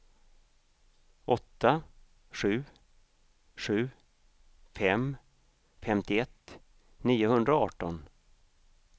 åtta sju sju fem femtioett niohundraarton